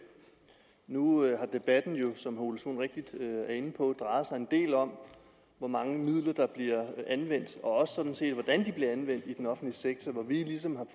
nu har debatten jo som herre ole sohn rigtigt er inde på drejet sig en del om hvor mange midler der bliver anvendt og også sådan set hvordan de bliver anvendt i den offentlige sektor hvor vi ligesom